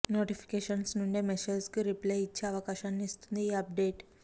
notifications నుండే message కు reply ఇచ్చే అవకాశాన్ని ఇస్తుంది ఈ అప్ డేట్